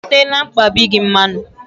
I teela mkpabi gị mmanụ?